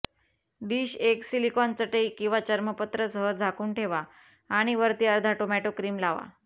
dish एक silicon चटई किंवा चर्मपत्र सह झाकून ठेवा आणि वरती अर्धा टोमॅटो क्रीम लावा